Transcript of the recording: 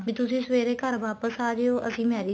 ਤੁਸੀਂ ਸਵੇਰੇ ਘਰ ਵਾਪਿਸ ਆ ਜਿਓ ਅਸੀਂ marriage